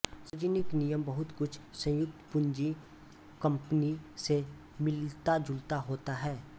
सार्वजनिक निगम बहुत कुछ संयुक्त पूंजी कम्पनी से मिलताजुलता होता है